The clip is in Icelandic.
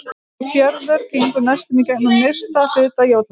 Hvaða fjörður gengur næstum í gegnum nyrsta hluta Jótlands?